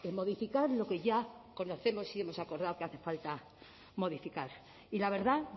modificar lo que ya conocemos y hemos acordado que hace falta modificar y la verdad